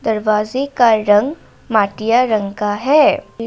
दरवाजे का रंग माटिया रंग का है।